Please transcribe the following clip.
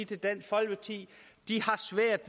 til dansk folkeparti